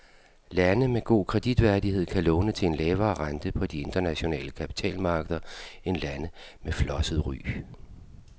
Lande med god kreditværdighed kan låne til en lavere rente på de internationale kapitalmarkeder end lande med flosset ry.